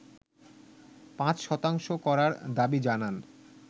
৫ শতাংশ করার দাবি জানান